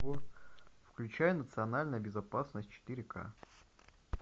включай национальная безопасность четыре к